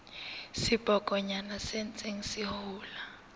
sebokonyana se ntseng se hola